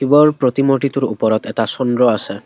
শিৱৰ প্ৰতিমূৰ্তিটোৰ ওপৰত এটা চন্দ্ৰ আছে।